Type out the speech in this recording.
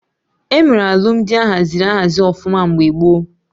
Emere Alụmdi ahaziri ahazi ọfụma mgbe gboo